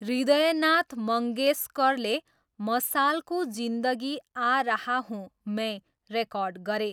हृदयनाथ मङ्गेशकरले मशालको जिन्दगी आ रहा हूँ मैं रेकर्ड गरे।